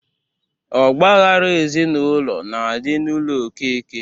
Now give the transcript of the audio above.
Ọgba aghara ezinụlọ na-adị n'ụlọ okeke